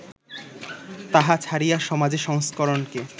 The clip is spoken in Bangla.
তাহা ছাড়িয়া, সমাজ সংস্করণকে